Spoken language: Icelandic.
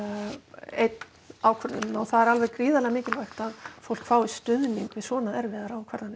einn ákvörðunina og það er gríðarlega mikilvægt að fólk fái stuðning við svona erfiðar ákvarðanir